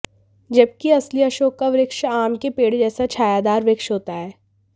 जबकि असली अशोक का वृक्ष आम के पेड़ जैसा छायादार वृक्ष होता है